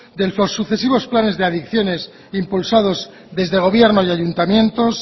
de los sucesivos planes de adicciones impulsados desde el gobierno y ayuntamientos